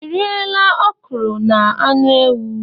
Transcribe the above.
I riela okro na anu ewu?